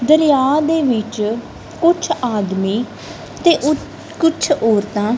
ਦਰਿਯਾ ਦੇ ਵਿੱਚ ਕੁਛ ਆਦਮੀ ਤੇ ਉ ਕੁੱਛ ਔਰਤਾਂ--